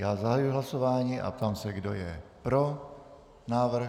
Já zahajuji hlasování a ptám se, kdo je pro návrh.